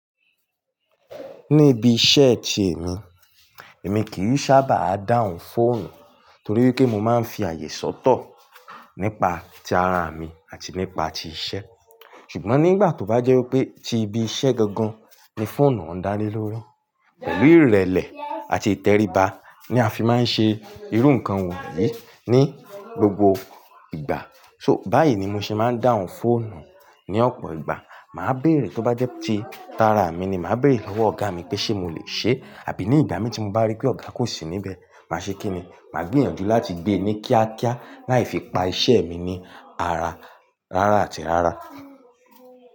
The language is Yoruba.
Níbi iṣẹ́ ti èmi, èmi kì í sábà dáhùn fóònù torí pé mo máa ń fi àyè sọ́tọ̀ nípa ti ara a mi àti nípa ti iṣẹ́. Ṣùgbọ́n nígbà tó bá jẹ́ wipé ti ibi iṣẹ́ gangan ni fóònù oun dále lórí, pẹ̀lú ìrẹ̀lẹ̀ àti ìtẹríba ni a fi máa ń ṣe irú nǹkan wọ̀nyí ní gbogbo ìgbà. So báyìí ni mo ṣe máa ń dáhùn fóònù. Ni ọ̀pọ̀ ìgbà, màá béèrè, tó bá jẹ́ ti tara mi ni, màá béèrè lọ́wọ́ ọ̀gá mi pé ṣé mo lè ṣe e, àbí ní ìgbà mi tí mo bá rí pé ọ̀gá kò sí níbẹ̀, màá ṣe kíni? Màá gbìyànjú láti gbé e ní kíákíá láì fi pa iṣẹ́ mi ní ara rárá àti rárá.